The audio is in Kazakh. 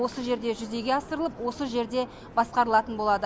осы жерде жүзеге асырылып осы жерде басқарылатын болады